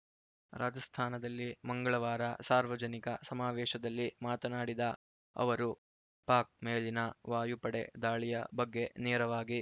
ರಾಜಸ್ಥಾನದಲ್ಲಿ ಮಂಗಳವಾರ ಸಾರ್ವಜನಿಕ ಸಮಾವೇಶದಲ್ಲಿ ಮಾತನಾಡಿದ ಅವರು ಪಾಕ್‌ ಮೇಲಿನ ವಾಯುಪಡೆ ದಾಳಿಯ ಬಗ್ಗೆ ನೇರವಾಗಿ